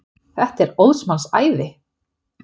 Þetta er óðs manns æði!